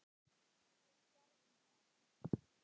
Við gerðum það.